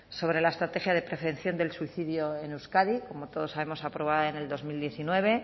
sobre la estrategia de prevención del suicidio en euskadi como todos sabemos aprobada en el dos mil diecinueve